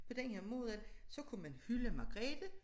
På den her måde så kunne man hylde Magrethe